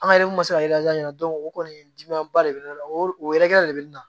An ka yɛrɛmuso ɲɛna o kɔni dimi ba de bɛ ne la o yɛrɛ kɛlen de bɛ na